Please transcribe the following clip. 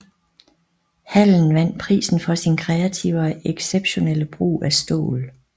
Hallen vandt prisen for sin kreative og exceptionelle brug af stål